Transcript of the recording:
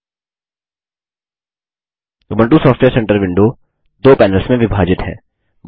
Ubuntu software centre विडों दो panels में विभाजित है